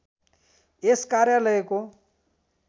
यस कार्यालयको